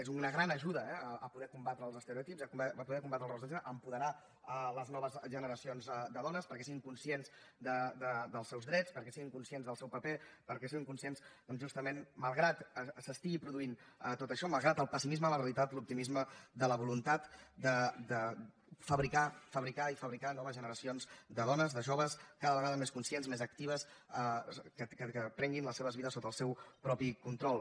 és una gran ajuda eh per poder combatre els estereotips per poder combatre els rols de gènere per apoderar les noves generacions de dones perquè siguin conscients dels seus drets perquè siguin conscients del seu paper perquè siguin conscients doncs justament malgrat que s’estigui produint tot això malgrat el pessimisme de la realitat de l’optimisme de la voluntat de fabricar fabricar i fabricar noves generacions de dones de joves cada vegades més conscients més actives que prenguin les seves vides sota el seu propi control